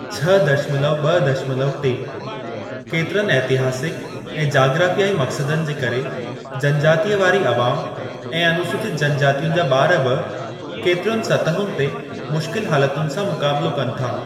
छह दशमलव ब॒ दशमलव टे केतिरनि ऐतिहासिक ऐं जाग्राफ़ियाई मक़सदनि जे करे जनजातीअ वारी अवाम ऐं अनूसूचित जनजातियुनि जा बार बि केतिरियुनि सतहुनि ते मुशिकल हालतुनि सां मुक़ाबिलो कनि था।